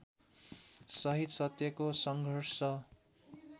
सहित सत्यको सङ्घर्ष